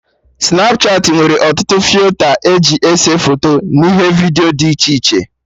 Snapchatị nwere ọtụtụ filta eji ese foto n'ihe vidiyo dị iche iche